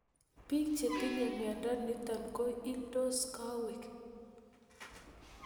Piik che tinye miondo nitok ko ildos kowaik